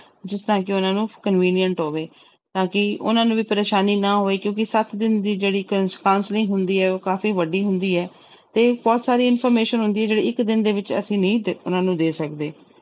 ਜਿਸ ਤਰ੍ਹਾਂ ਕਿ ਉਹਨਾਂ ਨੂੰ convenient ਹੋਵੇ, ਤਾਂ ਕਿ ਉਹਨਾਂ ਨੂੰ ਵੀ ਪਰੇਸਾਨੀ ਨਾ ਹੋਏ ਕਿਉਂਕਿ ਸੱਤ ਦਿਨ ਦੀ ਜਿਹੜੀ ਕ~ counselling ਹੁੰਦੀ ਹੈ ਉਹ ਕਾਫ਼ੀ ਵੱਡੀ ਹੁੰਦੀ ਹੈ ਤੇ ਬਹੁਤ ਸਾਰੀ information ਹੁੰਦੀ ਹੈ ਜਿਹੜੀ ਇੱਕ ਦਿਨ ਦੇ ਵਿੱਚ ਅਸੀਂ ਨਹੀਂ ਦੇ, ਉਹਨਾਂ ਨੂੰ ਦੇ ਸਕਦੇ।